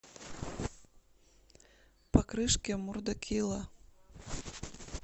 по крышке мурда килла